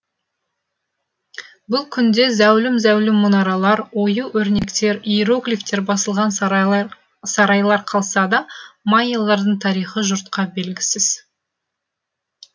бұл күнде зәулім зәулім мұнаралар ою өрнектер иероглифтер басылған сарайлар қалса да майялардың тарихы жұртқа белгісіз